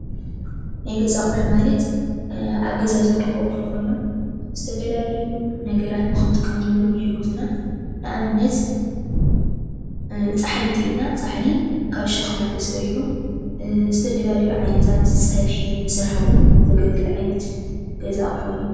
ናይ ገዛ ኣቑሑ ማለት ኣብ ገዛ ዝርከቡ ኣቑሑ ኮይኖም ዝተፈላለዩ ነገራት ንኽንጥቀመሎም ይሕግዙና፡፡ ንኣብነት ፃሕሊ እንተይልና ፃሕሊ ካብ ሸኽላ ተሰሪሑ ዝተፈላለዩ ዓይነታት ፀብሒ ንምስራሕ እውን ዘግልግል ዓይነት ገዛ ኣቑሑ እዩ፡፡